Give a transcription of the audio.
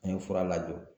An ye fura lajɔ